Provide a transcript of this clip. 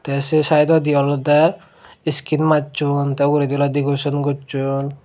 tey sei saidodi olodey iskin majson tey uguredi oley decoreson gosson.